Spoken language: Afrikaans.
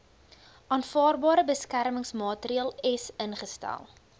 aanvaarbare beskermingsmaatreels ingestel